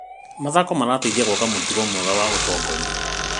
Mathako marateithia gwaka mũtugo mwega wa ũtongoria.